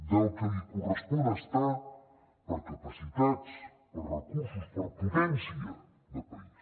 del que li correspon estar per capacitats per recursos per potència de país